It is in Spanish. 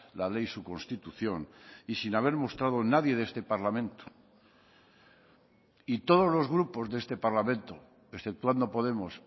la ley su constitución y sin haber mostrado nadie de este parlamento y todos los grupos de este parlamento exceptuando podemos